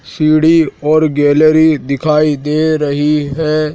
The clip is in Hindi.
सीढ़ी और गैलरी दिखाई दे रही है।